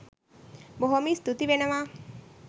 බොහෝම ස්තූති වෙනවා.